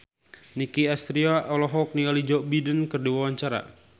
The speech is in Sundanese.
Nicky Astria olohok ningali Joe Biden keur diwawancara